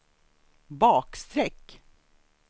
bakstreck